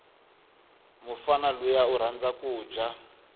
mufana luya urhandza kuja